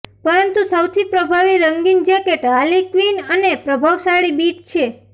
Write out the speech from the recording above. પરંતુ સૌથી પ્રભાવી રંગીન જેકેટ હાર્લી ક્વિન અને પ્રભાવશાળી બીટ છે